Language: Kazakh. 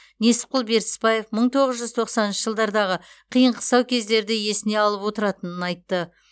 несіпқұл бертісбаев мың тоғыз жүз тоқсаныншы жылдардағы қиын қыстау кездерді есіне алып отыратынын айтты